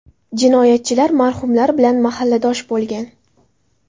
Jinoyatchilar marhumlar bilan mahalladosh bo‘lgan .